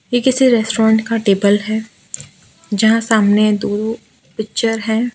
ये किसी रेस्टोरेंट का टेबल है जहां सामने दो पिक्चर है।